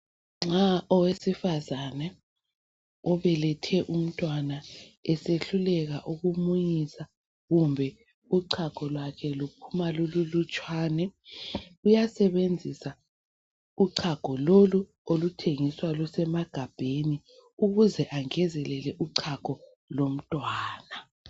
Nxa owesifazana obelethe umntwana esehluleka ukumunyisa kumbe uchago lwakhe luphuma lululutshwane uyasebenzisa uchago lolu oluthengiswa lusemagabheni ukuze angezelele uchago lomntwana.